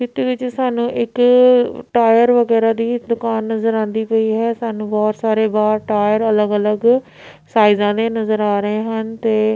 ਪਿੱਤਰ ਵਿੱਚ ਸਾਨੂੰ ਇੱਕ ਟਾਇਰ ਵਗੈਰਾ ਦੀ ਹੀ ਦੁਕਾਨ ਨਜ਼ਰ ਆਂਦੀ ਪਈ ਹੈ ਸਾਨੂੰ ਬਹੁਤ ਸਾਰੇ ਗਾਹ ਟਾਇਰ ਅਲੱਗ ਅਲੱਗ ਸਾਈਜ਼ਾਂ ਦੇ ਨਜ਼ਰ ਆ ਰਹੇ ਹਨ ਤੇ--